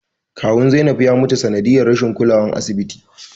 Kawun Zainab ya mutu sanadiyar rashin kulawar asibiti